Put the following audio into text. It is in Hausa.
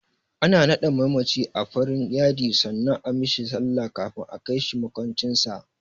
Ana naɗe mamaci a farin yadi sannan a mishi sallah kafin a kai shi maƙwancin sa.